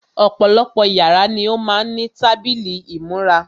Ọ̀pọ̀lọpọ̀ yàrá ni ó má ń ní tábìlì ìmúra.